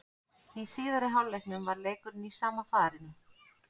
Í síðari hálfleiknum var leikurinn í sama farinu.